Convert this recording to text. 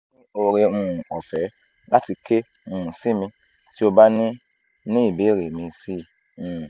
ni ore um ofe lati ke um si mi ti o ba ni ni ibeere mi si um